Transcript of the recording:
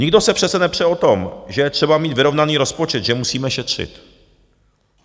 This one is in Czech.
Nikdo se přece nepře o tom, že je třeba mít vyrovnaný rozpočet, že musíme šetřit.